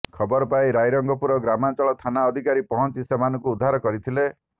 ଖବର ପାଇ ରାଇରଙ୍ଗପୁର ଗ୍ରାମାଞ୍ଚଳ ଥାନା ଅଧିକାରୀ ପହଞ୍ଚି ସେମାନଙ୍କୁ ଉଦ୍ଧାର କରିଥିଲେ